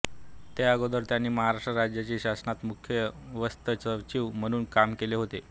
त्या अगोदर त्यांनी महाराष्ट्र राज्याच्या शासनात मुख्य वित्तसचिव म्हणून काम केले होते